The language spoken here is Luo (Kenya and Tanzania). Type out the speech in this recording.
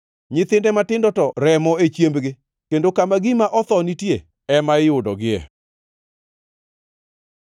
Nyithinde matindo to remo e chiembgi, kendo kama gima otho nitie, ema iyudogie.”